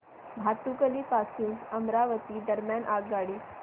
भातुकली पासून अमरावती दरम्यान आगगाडी